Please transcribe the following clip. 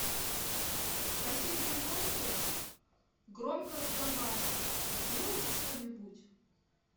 в соседнем номере громко разговаривают сделайте что нибудь